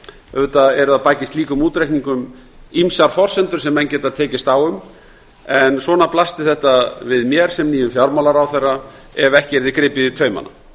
auðvitað eru að baki slíkum útreikningum ýmsar forsendur sem menn geta tekist á um en svona blasti þetta við mér sem nýjum fjármálaráðherra ef ekki yrði gripið í taumana